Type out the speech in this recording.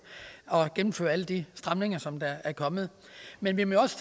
at gennemføre alle de stramninger som der er kommet men vi må også